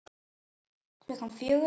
Klukkan fjögur?